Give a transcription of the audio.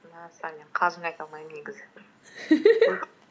мен қалжың айта алмаймын негізі